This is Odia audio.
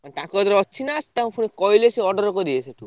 ତାଙ୍କ କତିରେ ଅଛି ନା ତାଙ୍କୁ ପୁଣି କହିଲେ ସେ order କରିବେ ସେଠୁ?